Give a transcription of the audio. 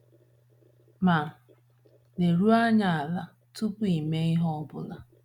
Ma, leruo anya ala tupu ị mee ihe ọ bụla.